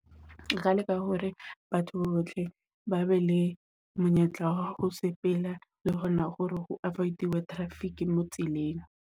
Re ka leka hore batho bohle ba be le monyetla, ho sepela le hona hore ho avoid-iwe traffic mo tseleng.